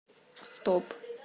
стоп